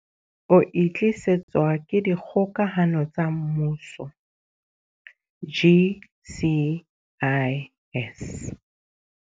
O e tlisetswa ke Dikgokahano tsa Mmuso GCIS.